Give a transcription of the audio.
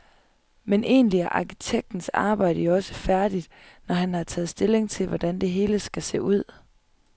Men egentlig er arkitektens arbejde jo også færdigt, når han har taget stilling til, hvordan det hele skal se ud.